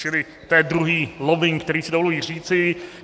Čili to je druhý lobbing, který si dovoluji říci.